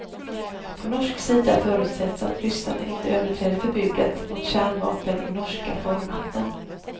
På norsk sida förutsätts att ryssarna inte överträder förbudet mot kärnvapen i norska farvatten.